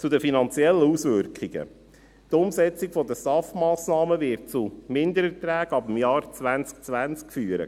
Zu den finanziellen Auswirkungen: Die Umsetzung der STAF-Massnahmen wird zu Mindererträgen ab dem Jahr 2020 führen.